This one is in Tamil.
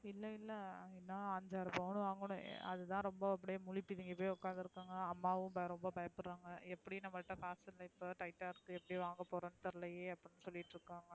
இல்ல இல்ல நான் அஞ்சு ஆறு பவும் வாங்கணும் அது தான் ரொம்ப அப்டியே முழி பிதிங்கி போய் உக்காந்துருகோம் அம்மாவும் ரொம்ப பயபுடுறாங்க எப்படி நம்மல்ட காசு டைடா இருக்கு எப்டி வாங்க போறோம் தெரியலயே அப்டி சொல்ட்டு இருகாங்க